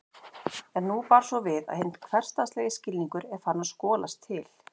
En nú ber svo við að hinn hversdagslegi skilningur er farinn að skolast til.